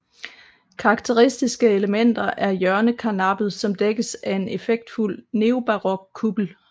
Karakteristiske elementer er hjørnekarnappet som dækkes af en effektfuld neobarok kuppel